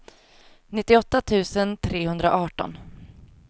nittioåtta tusen trehundraarton